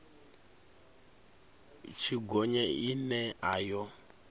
tshi gonya ine a yo